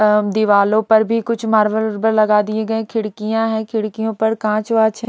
दीवालों पर भी कुछ मार्बल लगा दिए गए खिड़कियां हैं खिड़कियों पर कांच वाच--